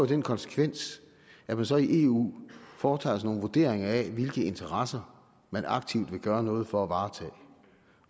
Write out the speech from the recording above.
den konsekvens at man så i eu foretager nogle vurderinger af hvilke interesser man aktivt vil gøre noget for at varetage